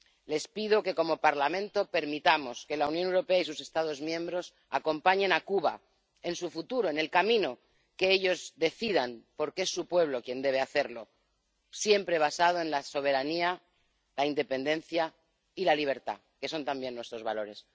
Les pido que, como Parlamento, permitamos que la Unión Europea y sus Estados miembros acompañen a Cuba en su futuro, en el camino que ellos decidan, porque es su pueblo quien debe hacerlo, siempre basándose en la soberanía, la independencia y la libertad, que son también nuestros valores.